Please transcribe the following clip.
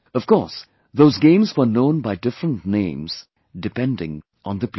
Of course, those games were known by different names, depending on the place